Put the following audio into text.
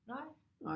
Nej